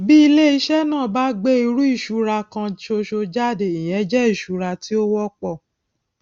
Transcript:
bí iléiṣẹ náà bá gbé irú ìṣura kan ṣoṣo jáde ìyẹn jẹ ìṣura tí ó wọpọ